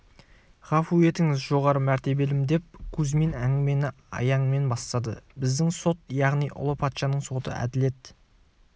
ғафу етіңіз жоғары мәртебелім деп кузьмин әңгімені аяңмен бастады біздің сот яғни ұлы патшаның соты әділет